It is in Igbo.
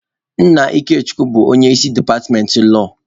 Nna Ikechukwu bụ onye isi departmentị lọọ.